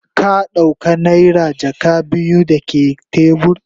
Ka dauka naira jaka biyu dake tebur?